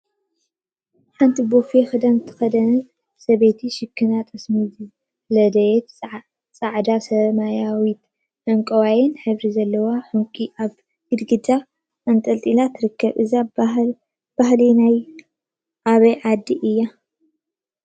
ሓንቲ ቦፌ ክዳን ዝተከደነት ሰበይቲ ሽክና ጠሰሚ ዝለደየን ፃዕዳ፣ ሰማያዊን ዕንቋይን ሕብሪ ዘለዎ ዕንቊ አብ ግድግዳ አንጠልጢላ ትርከብ፡፡ እዚ ባህሊ ናይ አበይ ዓዲ እዩ?